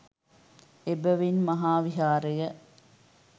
එබැවින් මහාවිහාරය